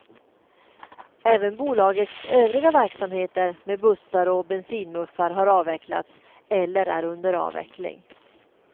Även bolagets övriga verksamheter med bussar och bensinmuffar har avvecklats eller är under avveckling.